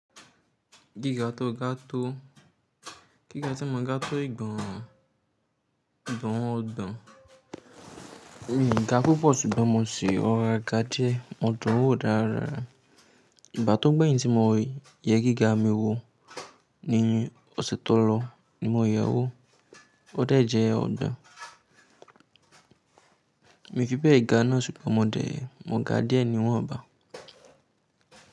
Gíga tó ga tó, gíga tí mo ga tó ìgbà ọ̀dọ̀n mi ga púpọ̀ ṣùgbọ́n mo ṣì rọra ga díẹ̀. Ọ̀dọ̀ wò dára. Ìgbà tó gbẹ̀yìn tí mo wé yẹ kí gá mi wọ ní oṣù tó lọ ni mo yẹwó ó dà jẹ́ ọ̀dọ́. Èmi fi pé ìgá náà ṣùgbọ́n mo dà ẹ́, mo ga díẹ̀ níwọ̀n ọba.